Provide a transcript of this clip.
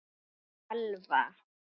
Þín Elfa.